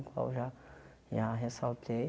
O qual eu já já ressaltei.